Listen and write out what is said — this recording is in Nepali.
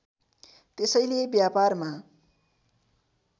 त्यसैले व्यापारमा